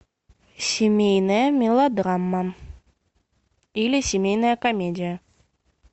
семейная мелодрама или семейная комедия